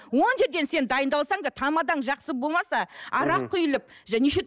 он жерден сен дайындалсаң да тамадаң жақсы болмаса арақ құйылып және